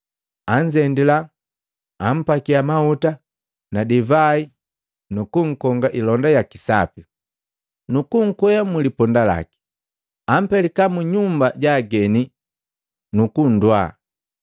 Anzendila, ampakia mahuta na divai nukukonga ilonda yaki sapi, nukunkwea mliponda laki, ampelika mu nyumba ja ageni nukunnwaa.